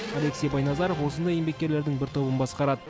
алексей байназаров осындай еңбеккерлердің бір тобын басқарады